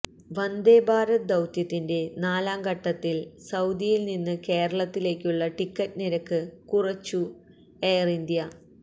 വന്ദേഭാരത് ദൌത്യത്തിന്റെ നാലാം ഘട്ടത്തില് സൌദിയില് നിന്ന് കേരളത്തിലേക്കുള്ള ടിക്കറ്റ് നിരക്ക് കുറച്ച് എയര് ഇന്ത്യ